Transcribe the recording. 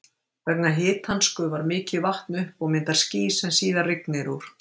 Vegna hitans gufar mikið vatn upp og myndar ský sem síðar rignir úr.